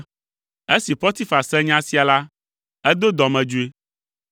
Esi Potifar se nya sia la, edo dɔmedzoe.